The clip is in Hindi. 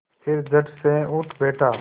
फिर झटसे उठ बैठा